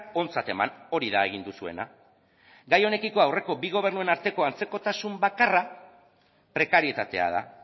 ontzat eman hori da egin duzuena gai honekiko aurreko bi gobernuen arteko antzekotasun bakarra prekarietatea da